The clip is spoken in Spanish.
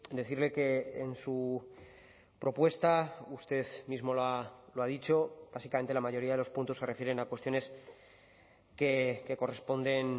decirle que en su propuesta usted mismo lo ha dicho básicamente la mayoría de los puntos se refieren a cuestiones que corresponden